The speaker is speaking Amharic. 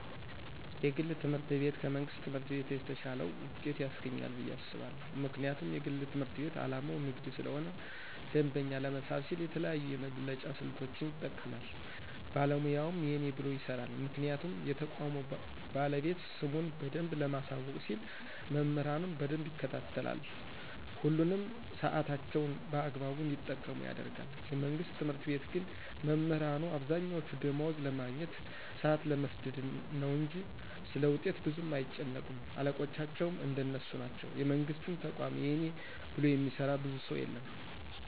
የግል ትምህርት ቤት ከመንግስት ትምህርት ቤት የተሻለ ውጤት ያስገኛል ብየ አስባለሁ። ምክንያቱም የግል ትምህርት ቤት አላማው ንግድ ስለሆነ ደንበኛ ለመሳብ ሲል የተለያዩ የመብለጫ ስልቶችን ይጠቀማል ባለሙያውም የእኔ ብሎ ይሰራል ምክንያቱም የተቋሙ ባለቤት ስሙን በደንብ ለማሳወቅ ሲል መምህራኑን በደንብ ይከታተላል፣ ሁሉንም ሳዕታቸውን በአግባቡ እንዲጠቀሙ ያደርጋል፤ የመንግስት ትምህርት ቤት ግን መምህራኑ አብዛኛወቹ ደማወዝ ለማግኘት፣ ሳአት ለመስደድ ነው እንጅ ስለውጤት ብዙም አይጨነቁም አለቆቻቸውም እንደነሱ ናቸው የመንግስትን ተቋማት የእኔ ብሎ የሚሰራ ብዙ ሰው የለም።